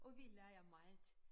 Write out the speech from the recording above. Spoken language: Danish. Og vi leger meget